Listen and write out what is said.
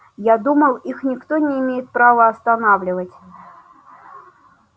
я думал их никто не имеет права остановить